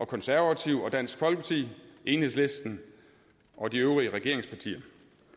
konservative dansk folkeparti enhedslisten og de øvrige regeringspartier